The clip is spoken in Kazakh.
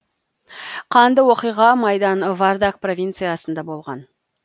қанды оқиға майдан вардак провинциясында болған